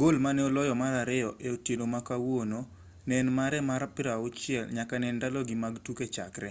gol mane oloyo mar ariyo e otieno ma kawuono ne en mare mar 60 nyaka ne ndalogi eki mag tuke chakre